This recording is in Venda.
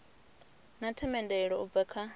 na themendelo u bva kha